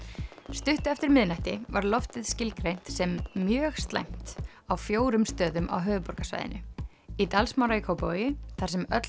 stuttu eftir miðnætti var loftið skilgreint sem mjög slæmt á fjórum stöðum á höfuðborgarsvæðinu í Dalsmára í Kópavogi þar sem öll